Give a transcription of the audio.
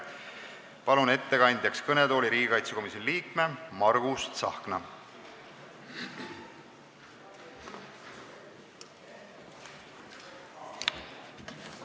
Palun ettekandeks kõnetooli riigikaitsekomisjoni liikme Margus Tsahkna!